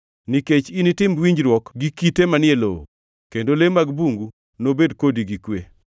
Nikech initim winjruok gi kite manie lowo, kendo le mag bungu nobed kodi gi kwe.